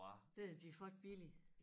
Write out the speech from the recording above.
Den har de fået billigt